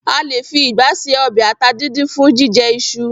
A lè fi ìgbá ṣe ọbẹ ata díndín fun jíjẹ iṣu.